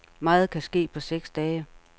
Meget kan ske på seks dage.